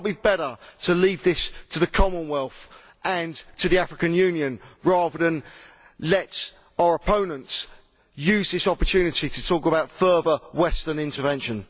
Would it not be better to leave this to the Commonwealth and to the African Union, rather than let our opponents use this opportunity to talk about further Western intervention?